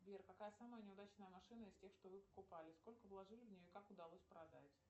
сбер какая самая неудачная машина из тех что вы покупали сколько вложили в нее и как удалось продать